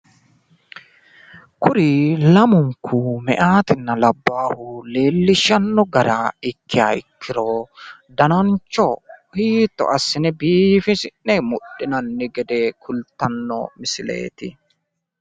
Kuri lamunkku meyaatinna labbaahu, leellishshanno gara ikkiha ikkiro danancho hiitto assine biifisi'ne mudhinanni gede kulttanno misileeti.